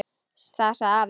Það sagði afi.